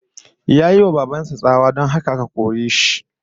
Yayi wa baban sa tsawa, don haka aka kore shi